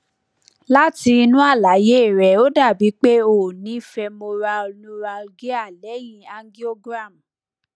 lati inu alaye re o dabi pe o o ni femoral neuralgia lẹ́yin angiogram